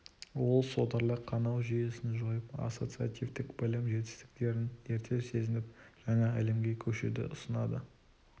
ол содырлы қанау жүйесін жойып ассоциативтік білім жетістіктерін ерте сезініп жаңа әлемге көшуді ұсынады